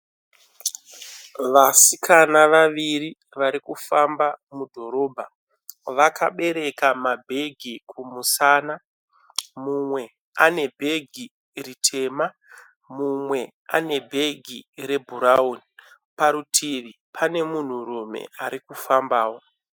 Vasikana vaviri vari kufamba mudhorobha vakabereka mabhegi kumusana. Mumwe ane bhegi ritema mumwe ane bhegi rebhurauni. Parutivi pane munhurume ari kufambawo.